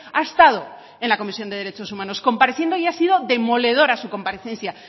ha estado en la comisión de derechos humanos compareciendo y ha sido demoledora su comparecencia